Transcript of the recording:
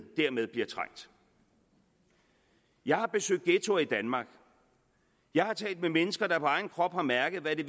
dermed bliver trængt jeg har besøgt ghettoer i danmark jeg har talt med mennesker der på egen krop har mærket hvad det